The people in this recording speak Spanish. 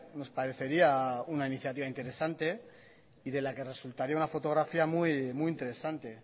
nos parecería una iniciativa interesante y de la que resultaría una fotografía muy interesante